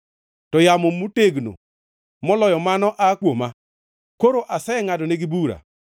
to yamo motegno moloyo mano aa kuoma. Koro asengʼadonegi bura.”